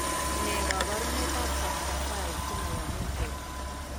Ne kaabarunetap Factor V chemoyame eng' borto?